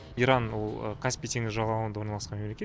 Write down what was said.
иран ол каспий теңізі жағалауында орналасқан мемлекет